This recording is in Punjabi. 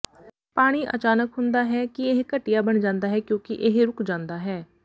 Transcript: ਪਾਣੀ ਅਚਾਨਕ ਹੁੰਦਾ ਹੈ ਕਿ ਇਹ ਘਟੀਆ ਬਣ ਜਾਂਦਾ ਹੈ ਕਿਉਂਕਿ ਇਹ ਰੁਕ ਜਾਂਦਾ ਹੈ